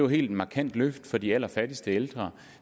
helt markant løft for de allerfattigste ældre